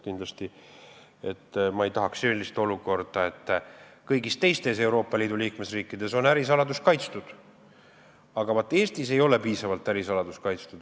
Kindlasti ei tahaks ma sellist olukorda, et kõigis teistes Euroopa Liidu liikmesriikides on ärisaladus kaitstud, aga vaat Eestis ei ole see piisavalt kaitstud.